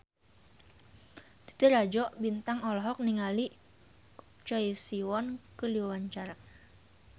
Titi Rajo Bintang olohok ningali Choi Siwon keur diwawancara